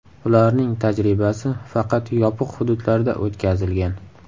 Ularning tajribasi faqat yopiq hududlarda o‘tkazilgan.